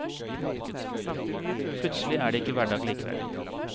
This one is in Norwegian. Plutselig er det ikke hverdag likevel.